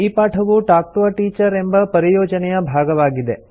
ಈ ಪಾಠವು talk to a teacher ಎಂಬ ಪರಿಯೋಜನೆಯ ಭಾಗವಾಗಿದೆ